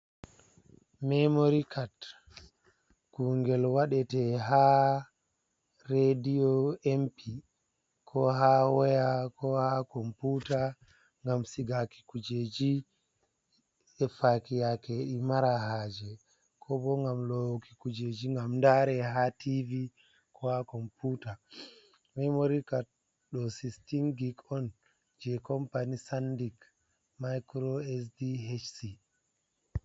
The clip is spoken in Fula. Memori cad kungel waɗete ha rediyo, empi, ko ha waya, ko ha komputa ngam sigaki kujeji e faki yake ɗi mara haaje. Ko bo ngam lowuki kujeji ngam ndaare ha TV, ko ha komputa. Memori cad ɗo sikstin gig on, je kompani sandik maikro SD HC.